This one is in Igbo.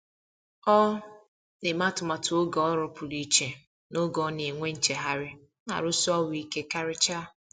Ọ na-eme atụmatụ oge ọrụ pụrụ iche n’oge ọ na-enwe nchegharị na arụsi ọrụ ike karịcha.